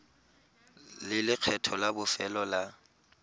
le lekgetho la bofelo la